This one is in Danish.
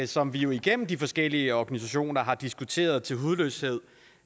som vi igennem de forskellige organisationer har diskuteret til hudløshed